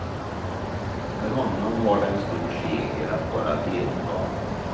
För honom var det en stor seger att bara delta.